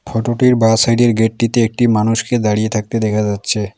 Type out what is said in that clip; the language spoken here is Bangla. ফোটোটির বাঁ সাইডের গেটটিতে একটি মানুষকে দাঁড়িয়ে থাকতে দেখা যাচ্ছে।